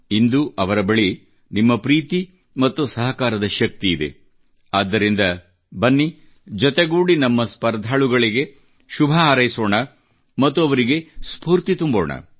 ಇಂದು ಅವರ ಬಳಿ ನಿಮ್ಮ ಪ್ರೀತಿ ಮತ್ತು ಸಹಕಾರದ ಶಕ್ತಿಯಿದೆ ಆದ್ದರಿಂದ ಬನ್ನಿ ಜೊತೆಗೂಡಿ ನಮ್ಮ ಸ್ಪರ್ಧಾಳುಗಳಿಗೆ ಶುಭ ಹಾರೈಸೋಣ ಮತ್ತು ಅವರಿಗೆ ಸ್ಪೂರ್ತಿ ತುಂಬೋಣ